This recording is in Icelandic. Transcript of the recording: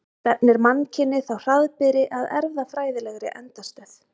Stefnir mannkynið þá hraðbyri að erfðafræðilegri endastöð?